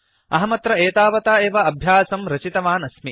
अहमत्र एतावता एव अभ्यासं रचितवान् अस्मि